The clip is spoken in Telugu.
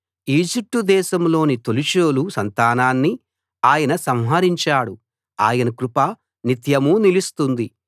ఈజిప్టు దేశంలోని తొలిచూలు సంతానాన్ని ఆయన సంహరించాడు ఆయన కృప నిత్యమూ నిలుస్తుంది